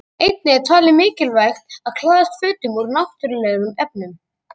Einnig er talið mikilvægt að klæðast fötum úr náttúrulegum efnum.